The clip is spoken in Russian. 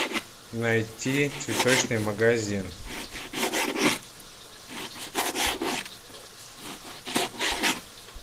найти цветочный магазин